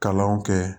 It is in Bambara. Kalanw kɛ